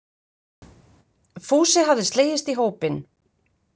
Fúsi hafði slegist í hópinn.